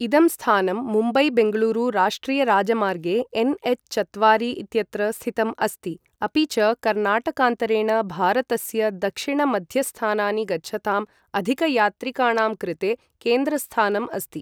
इदं स्थानं मुम्बै बेङ्गळूरु राष्ट्रियराजमार्गे एन्.एच् चत्वारि इत्यत्र स्थितम् अस्ति अपि च कर्णाटकान्तरेण भारतस्य दक्षिणमध्यस्थानानि गच्छताम् अधिकयात्रिकाणां कृते केन्द्रस्थानम् अस्ति।